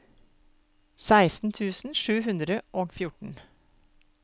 seksten tusen sju hundre og fjorten